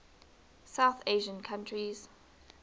south asian countries